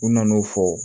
U nana'o fɔ